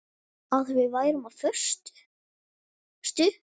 Að við værum á föstu.